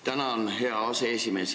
Tänan, hea aseesimees!